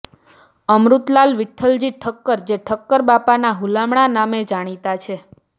અમૃતલાલ વિઠ્ઠલજી ઠક્કર જે ઠક્કરબાપાના હુલામણા નામે જાણીતા છે